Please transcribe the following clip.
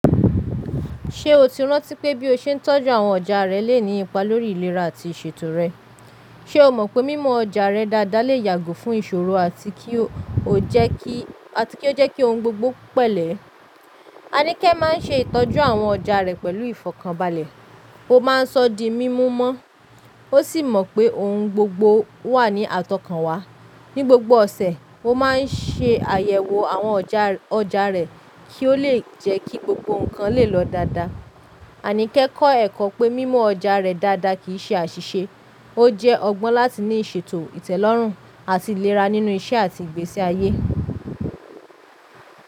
Ṣé o ti rántí pé bí o ṣe ń tọ́jú àwọn ọjà rẹ lè ní ipa lórí ìlera àti ìṣètò rẹ? Ṣé o mọ̀ pé mímo ọjà rẹ dáadáa lè yàgò fún ìṣòro àti kí ó jẹ́ kí ohun gbogbo pẹ́lẹ́? Aníkẹ́ máa ń ṣe ìtọ́jú àwọn ọjà rẹ̀ pẹ̀lú ìfọ̀kànbalẹ̀, ó máa ń sọ dí mímu mọ́, ó sì mọ̀ pé ohun gbogbo wà ní àtọ̀kànwá. Ni gbogbo ọ̀sẹ̀, ó máa ń ṣe àyẹ̀wò àwọn ọjà rẹ̀ kí ó lè jẹ́ kí gbogbo nǹkan lè lọ dáadáa. Aníkẹ́ kọ́ ẹ̀kọ́ pé mímo ọjà rẹ dáadáa kì í ṣe àṣìṣe, ó jẹ́ ọgbọ́n láti ní ìṣètò ìtẹ́lọ́rùn àti ìlera nínú iṣẹ́ àti ìgbésí ayé.